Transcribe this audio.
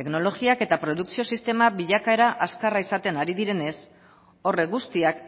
teknologiak eta produkzio sistema bilakaera azkarra izaten ari direnez horrek guztiak